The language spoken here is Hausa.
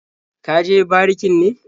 Ka je barikin ne?